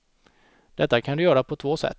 Detta kan du göra på två sätt.